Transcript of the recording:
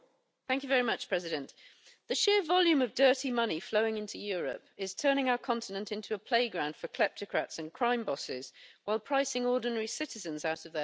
Mr President, the sheer volume of dirty money flowing into Europe is turning our continent into a playground for kleptocrats and crime bosses while pricing ordinary citizens out of their homes.